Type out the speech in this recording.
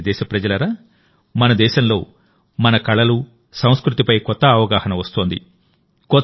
నా ప్రియమైన దేశప్రజలారామన దేశంలో మన కళలు సంస్కృతి పై కొత్త అవగాహన వస్తోంది